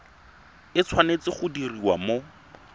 e tshwanetse go diriwa mo